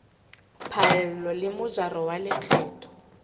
phaello le mojaro wa lekgetho